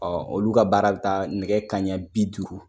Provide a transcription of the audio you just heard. olu ka baara bɛ taa nɛgɛ kanɲɛ bi duuru